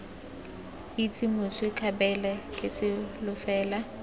itse moswi kgabele ke solofela